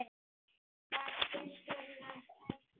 Taktu skurn af eggjum.